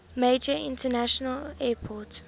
major international airport